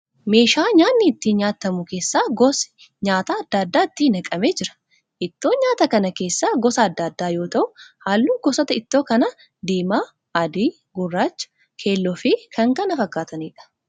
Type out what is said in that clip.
Meeshaa nyaatni itti nyaatamu keessa gosi nyaataa adda addaa itti naqamee jira. Ittoon nyaata kana keessa gosa adda addaa yoo ta'u halluu gosoota ittoo kanaa diimaa, adii, gurraachaa, keelloo fi kan kana fakkaataniidha.